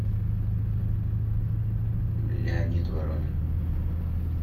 леонид воронин